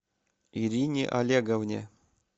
ирине олеговне